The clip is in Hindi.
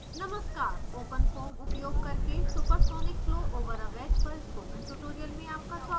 नमस्कार openfoam उपयोग करके supersonic flow over a wedge पर spoken tutorial में आपका स्वागत है